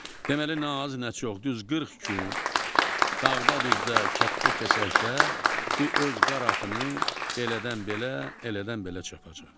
Deməli nə az, nə çox, düz 40 gün, dağda-düzdə, kənddə-kəsəkdə bu öz qaratını belədən belə, elədən belə çapacaq.